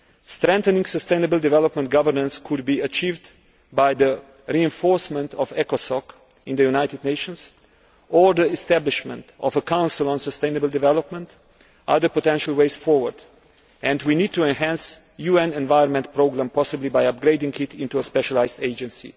Strengthening sustainable development governance could be achieved by the reinforcement of ECOSOC in the United Nations or the establishment of a Council on Sustainable Development. These are the potential ways forward and we need to enhance the UN Environment Programme, possibly by upgrading it into a specialised agency.